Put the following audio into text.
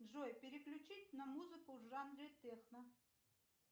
джой переключить на музыку в жанре техно